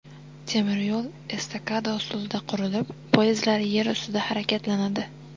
Temir yo‘l estakada usulida qurilib, poyezdlar yer ustida harakatlanadi.